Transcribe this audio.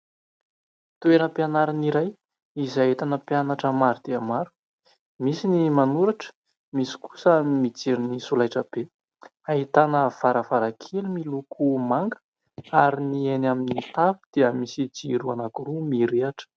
Toeram-pianarana iray izay ahita mpianatra maro dia maro, misy ny manoratra, misy kosa ny mijery ny solaitra be, ahitana varavarankely miloko manga ary ny eny amin'ny tafo dia misy jiro anankiroa mirehitra